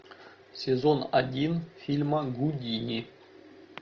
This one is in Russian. сезон один фильма гудини